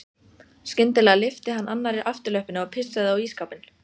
Skyndilega lyfti hann annarri afturlöppinni og pissaði á ísskápinn.